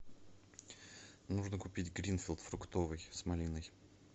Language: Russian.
нужно купить гринфилд фруктовый с малиной